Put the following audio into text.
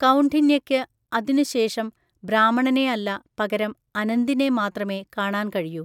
കൗണ്ഡിന്യക്ക് അതിനുശേഷം ബ്രാഹ്മണനെയല്ല പകരം അനന്തിനെ മാത്രമേ കാണാൻ കഴിയൂ.